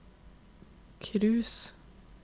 cruise